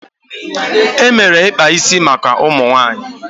E mere ikpa isi maka ụmụ nwaanyị.